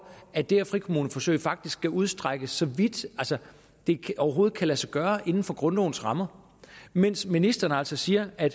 at det her frikommuneforsøg faktisk skal udstrækkes så vidt som det overhovedet kan lade sig gøre inden for grundlovens rammer mens ministeren altså siger at